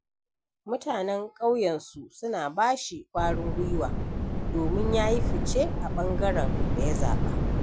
Mutanen ƙauyensu suna ba shi ƙwarin gwiwa domin ya yi fice a ɓangaren da ya zaɓa.